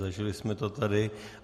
Zažili jsme to tady.